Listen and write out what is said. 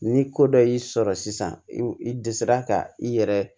Ni ko dɔ y'i sɔrɔ sisan i dɛsɛra ka i yɛrɛ